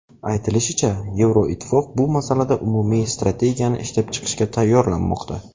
Aytilishicha, Yevroittifoq bu masalada umumiy strategiyani ishlab chiqishga tayyorlanmoqda.